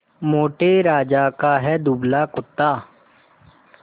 मोटे राजा का है दुबला कुत्ता